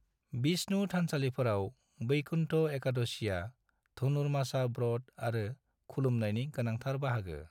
विष्णु थानसालिफोराव, बैकुन्थ एकादशिआ धनुरमासा व्रत आरो खुलुमनायनि गोनांथार बाहागो।